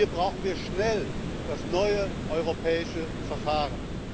Hier brauchen wir schnell das neue europäische Verfahren.